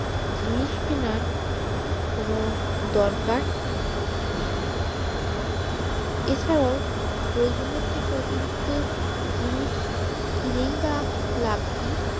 জিনিস কিনার কোনো দরকার নেই এ ছাড়াও প্রয়োজন অতিরিক্ত জিনিস কিনেই বা লাভ কি